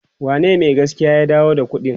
wane Mai gaskiyan ya dawo da ƙuɗin?